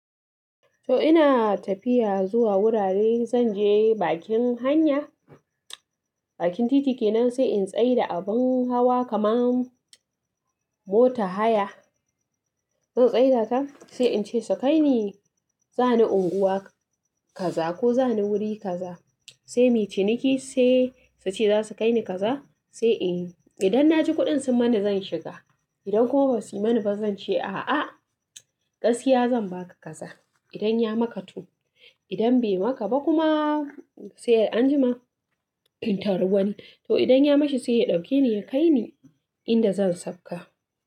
To ina tafiya zuwa wurare, zan je bakin hanya, bakin titi kenan sai in tsai da abin hawa kaman motar haya, zan tsai da ta sai in ce su kai ni, za ni unguwa kaza ko za ni wuri kaza. Sai mu ciniki sai su ce za su kai ni kaza, sai in idan na ji kuɗin sun mani zan shiga, idan kuma ba su yi mani ba zan ce a'a, gaskiya zan ba ka kaza idan ya maka to. Idan bai maka ba kuma sai an jima inta ruwan, to idan ya mashi sai ya ɗauke ni ya kai ni inda zan sauka.